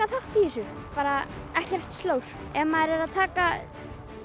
þátt í þessu bara ekkert slór ef maður er að taka